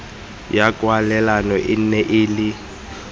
ya kwalelano e nne le